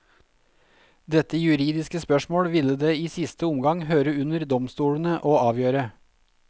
Dette juridiske spørsmål ville det i siste omgang høre under domstolene å avgjøre.